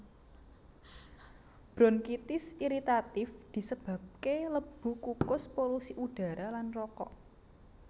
Bronkitis iritatif disebabke lebu kukus polusi udara lan rokok